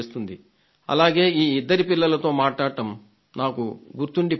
అలాగే ఈ ఇద్దరి పిల్లలతో మాట్లాడటం నాకు గుర్తుండిపోతుంది